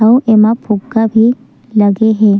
आऊ एमा फुग्गा भी लगे हे।